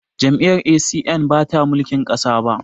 Jam'iyyar A.C.N ba ta mulki ƙasa ba